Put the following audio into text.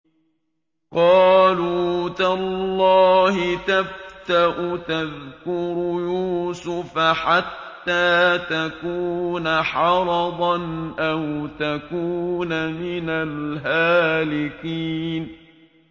قَالُوا تَاللَّهِ تَفْتَأُ تَذْكُرُ يُوسُفَ حَتَّىٰ تَكُونَ حَرَضًا أَوْ تَكُونَ مِنَ الْهَالِكِينَ